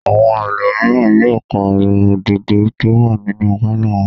Àwọn ẹlòmíràn yóò pàrọ̀ òdòdó tó wà nínú pálọ̀ wọn.